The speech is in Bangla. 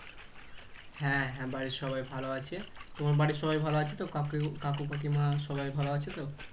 হ্যাঁ বাড়ির সবাই ভালো আছে তোমার বাড়ির সবাই ভালো আছে তো কাকু কাকিমা সবাই ভালো আছেতো